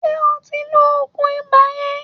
Ṣé o ti ń lo òògùn ibà yẹn?